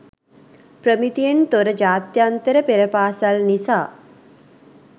ප්‍රමිතියෙන් තොර ජාත්‍යන්තර පෙර පාසල් නිසා